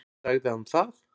Sagði hann það?